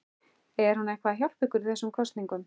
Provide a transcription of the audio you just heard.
Er hún eitthvað að hjálpa ykkur í þessum kosningum?